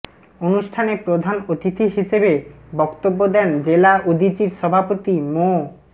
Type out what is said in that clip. অনুষ্ঠানে প্রধান অতিথি হিসেবে বক্তব্য দেন জেলা উদীচীর সভাপতি মো